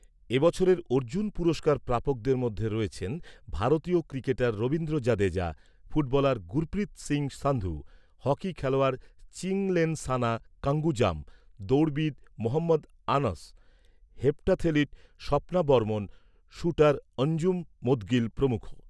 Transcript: এ বছরের অর্জুন পুরস্কার প্রাপকদের মধ্যে রয়েছেন ভারতীয় cricketer Ravindra Jadeja, footballer Gurpreet Singh Sandhu, hockey খেলোয়াড় চিংলেনসানা কাঙ্গুজাম, দৌড়বিদ মহম্মদ আনস, হেপ্ট্যাথলিট স্বপ্না বর্মণ, শ্যুটার অঞ্জুম মোদগিল প্রমুখ।